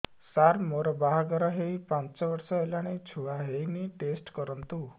ସାର ମୋର ବାହାଘର ହେଇ ପାଞ୍ଚ ବର୍ଷ ହେଲାନି ଛୁଆ ହେଇନି ଟେଷ୍ଟ କରନ୍ତୁ